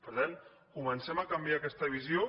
per tant comencem a canviar aquesta visió